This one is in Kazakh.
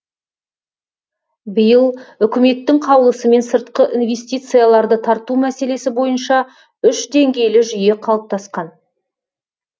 биыл үкіметтің қаулысымен сыртқы инвестицияларды тарту мәселесі бойынша үш деңгейлі жүйе қалыптасқан